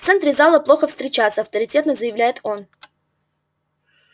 в центре зала плохо встречаться авторитетно заявляет он